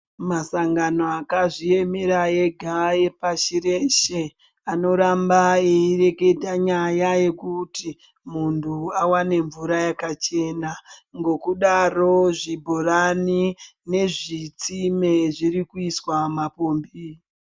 Masangano akazviemera ega pashi reshe anoramba eireketa nyaya yekuti muntu awane mvura yakachena ngekudaro zvibhorani nezvitsime zviri kuiswa mapombi.